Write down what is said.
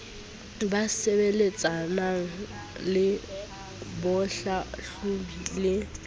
ba sebetsanang le bohlahlobi le